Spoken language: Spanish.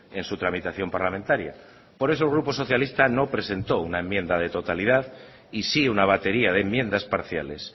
en su tramitación parlamentaria por eso el grupo socialista no presentó una enmienda de totalidad y sí una batería de enmiendas parciales